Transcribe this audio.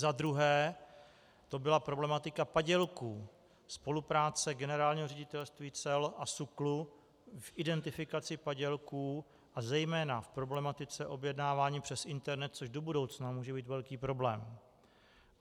Za druhé to byla problematika padělků, spolupráce Generálního ředitelství cel a SÚKLu v identifikaci padělků a zejména v problematice objednávání přes internet, což do budoucna může být velký problém.